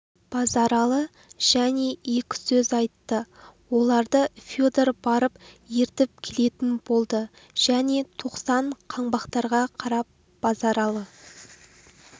базаралы және екі сөз айтты оларды федор барып ертіп келетін болды және тоқсан қаңбақтарға қарап базаралы